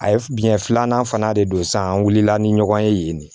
A ye biyɛn filanan fana de don sa an wulila ni ɲɔgɔn ye yen de